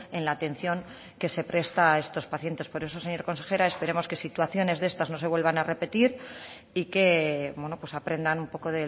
en la atención que se presta a estos pacientes por eso señora consejera esperemos que situaciones de estas no se vuelvan a repetir y que aprendan un poco